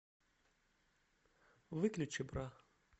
выключи бра